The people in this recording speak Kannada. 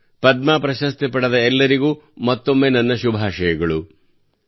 ಪದ್ಮ ಪ್ರಶಸ್ತಿ ಪಡೆದ ಎಲ್ಲರಿಗೂ ಮತ್ತೊಮ್ಮೆ ನನ್ನ ಶುಭಾಶಯ ಕೋರುತ್ತೇನೆ